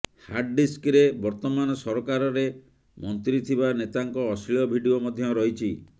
ହାର୍ଡଡିସ୍କରେ ବର୍ତ୍ତମାନ ସରକାରରେ ମନ୍ତ୍ରୀ ଥିବା ନେତାଙ୍କ ଅଶ୍ଳୀଳ ଭିଡିଓ ମଧ୍ୟ ରହିଛି